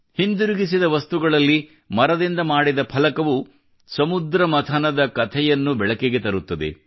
ಹಿಂದಿರುಗಿಸಿದ ವಸ್ತುಗಳಲ್ಲಿ ಮರದಿಂದ ಮಾಡಿದ ಫಲಕವು ಸಮುದ್ರ ಮಂಥನದ ಕಥೆಯನ್ನು ಬೆಳಕಿಗೆ ತರುತ್ತದೆ